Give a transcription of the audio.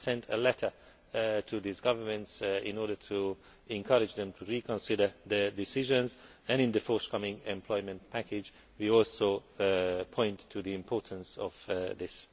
I sent a letter to these governments in order to encourage them to reconsider their decisions, and in the forthcoming employment package we also point to the importance of this.